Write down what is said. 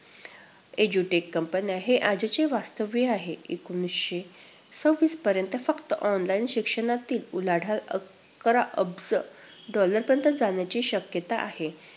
Edu Tech company हे आजचे वास्तव आहे. एकोणीसशे सव्वीस पर्यंत फक्त online शिक्षणातील उलाढाल अकरा अब्ज dollar पर्यंत जाण्याची शक्यता आहे.